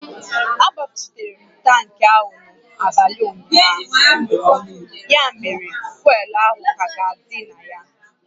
A gbajuputara m tankị ahụ n'abalị ụnyaahụ, ya mere fuel ahụ ka ga-adị na ya